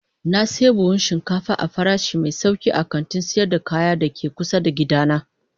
Na sayi buhun shinkafa ne a farashi mai sauki a kantin sayar da kaya da ke kusa da gidana.